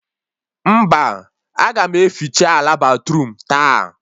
Mba, a ga m eficha ala batruum taa